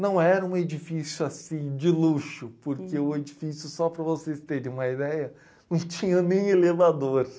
Não era um edifício assim de luxo, porque o edifício, só para vocês terem uma ideia, não tinha nem elevador.